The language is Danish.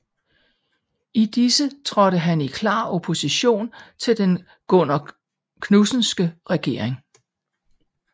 I disse trådte han i klar opposition til den Gunnar Knudsenske regering